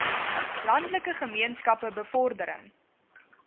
landelike gemeenskappe bevordering